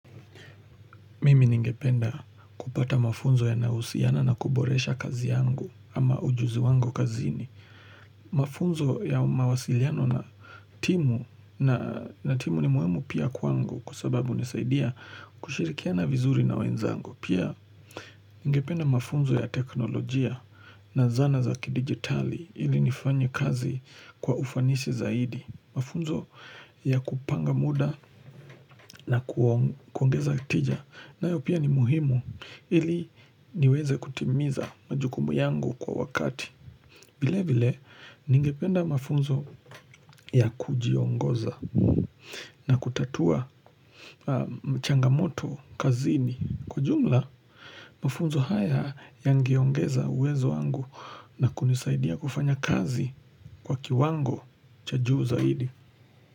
Mimi ningependa kupata mafunzo yanayohusiana na kuboresha kazi yangu ama ujuzi wango kazini. Mafunzo ya mawasiliano na timu na timu ni muhimu pia kwangu kusababu nisaidia kushirikia na vizuri na wenzangu. Pia ningependa mafunzo ya teknolojia na zana za kidigitali ili nifanye kazi kwa ufanisi zaidi. Mafunzo ya kupanga muda na kuongeza tija nayopia ni muhimu ili niweze kutimiza majukumu yangu kwa wakati vile vile ningependa mafunzo ya kujiongoza na kutatua changamoto kazini Kwa jumla mafunzo haya yangeongeza uwezo wangu na kunisaidia kufanya kazi kwa kiwango cha juu zaidi.